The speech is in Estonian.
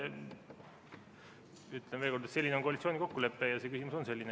Ütlen veel kord, et selline on koalitsiooni kokkulepe ja see küsimus on selline.